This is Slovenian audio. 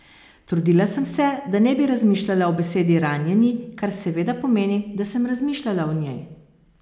Trudila sem se, da ne bi razmišljala o besedi ranjeni, kar seveda pomeni, da sem razmišljala o njej.